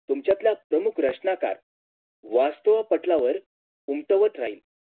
तुमच्यातल्या सोमप्रश्नकात वास्तवपटलावर उमटवत राहील